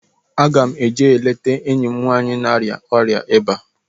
Aga m eje leta enyi m nwaanyị na-arịa ọrịa ịba